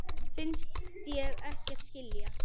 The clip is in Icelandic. Finnst ég ekkert skilja.